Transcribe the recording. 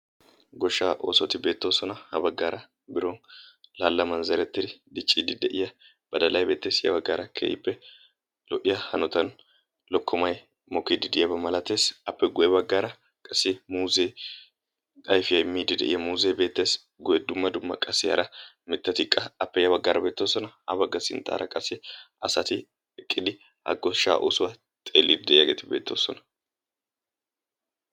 Goshshaa oosoti beettoosona. ha baggaara biron laallaman zerettidi dicciidi de7iya badalahi beettees. ya baggaara keehippe lo77iya hanotan lokkomay mookiidi de7yaaba malateesi. appe guye baggaara qassi muuzee ayfiya imiidi de7iya muuzee beettees. guye dumma dumma qassi hara mittatikka, appe ya baggaara beettoosona ha bagga sinttara qassi asati eqqidi ha goshsha oosuwaa xeellidi de7iyaageeti beettoosona.